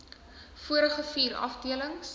volgende vier afdelings